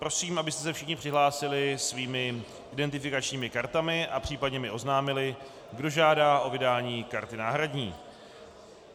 Prosím, abyste se všichni přihlásili svými identifikačními kartami a případně mi oznámili, kdo žádá o vydání karty náhradní.